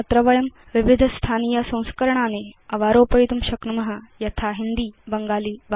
अत्र वयं विविध स्थानीय संस्करणानि अवारोपयितुं शक्नुम यथा हिन्दी बङ्गाली वा